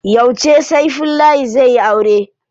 Yauce Saifullahi zai yi aure?